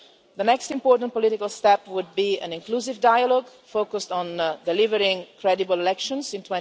The next important political step would be an inclusive dialogue focused on delivering credible elections in